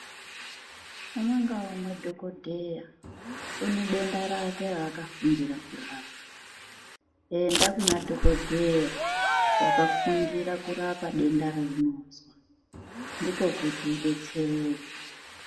Umwe ngaumwe madhokodheya une denda rake raakafundira kurapa enda kuna dhokodheya wakafundira kurapa denda raunozwa ndiko kuti udetsereke.